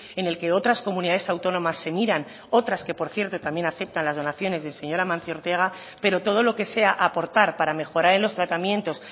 en el que otras comunidades autónomas se miran otras que por cierto también aceptan las donaciones del señor amancio ortega pero todo lo que sea aportar para mejorar en los tratamientos